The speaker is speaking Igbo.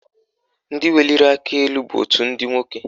Ndị weliri aka elu bụ òtù ndị nwoke